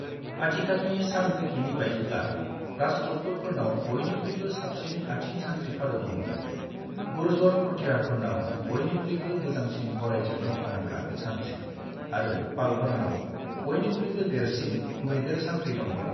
आथिखालनि सानरिखिनि बायदिब्ला, राष्ट्रकूटफोरनाव बयनिख्रुइबो साबसिन आथिं सानथ्रि-फालो दंमोन, गुर्जर-प्रतिहारफोरनाव बयनिख्रुइबो मोजांसिन गरायजों दावहा नांग्रा सान्थ्रि आरो पालफोरनाव बयनिख्रुइबो देरसिन मैदेर सान्थ्रि दंमोन।